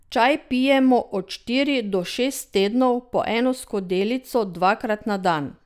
Čaj pijemo od štiri do šest tednov po eno skodelico dvakrat na dan.